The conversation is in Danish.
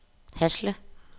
Hasle